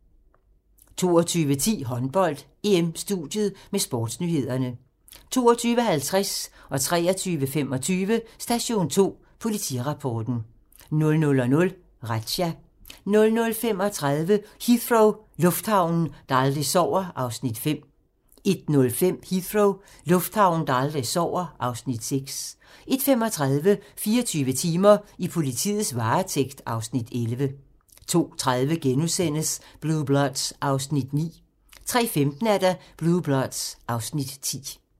22:10: Håndbold: EM-studiet med sportsnyhederne 22:50: Station 2: Politirapporten 23:25: Station 2: Politirapporten 00:00: Razzia 00:35: Heathrow - lufthavnen, der aldrig sover (Afs. 5) 01:05: Heathrow - lufthavnen, der aldrig sover (Afs. 6) 01:35: 24 timer: I politiets varetægt (Afs. 11) 02:30: Blue Bloods (Afs. 9)* 03:15: Blue Bloods (Afs. 10)